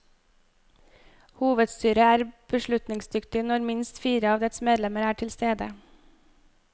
Hovedstyret er beslutningsdyktig når minst fire av dets medlemmer er tilstede.